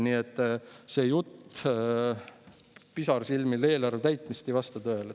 Nii et see pisarsilmil esitatud jutt eelarve täitmisest ei vasta tõele.